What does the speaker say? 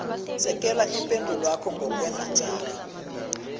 sekela ipendulwakho ngokwendatjana